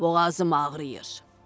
boğazım ağrıyır.